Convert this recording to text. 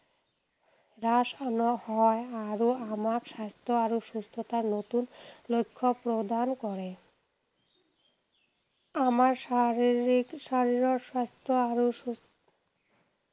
চাপ নহয় আৰু আমাক স্বাস্থ্য আৰু সুস্থতাৰ নতুন লক্ষ্য প্ৰদান কৰে। আমাৰ শাৰীৰিক, শৰীৰৰ স্বাস্থ্য আৰু সুস্থতা